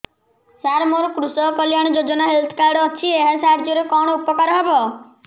ସାର ମୋର କୃଷକ କଲ୍ୟାଣ ଯୋଜନା ହେଲ୍ଥ କାର୍ଡ ଅଛି ଏହା ସାହାଯ୍ୟ ରେ କଣ ଉପକାର ହବ